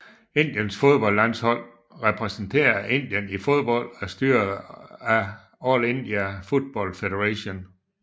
Indiens fodboldlandshold repræsenterer Indien i fodbold og er styret af All India Football Federation